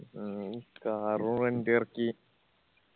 ആവൂ car rent എറക്കി